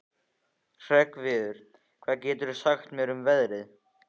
Hreggviður, hvað geturðu sagt mér um veðrið?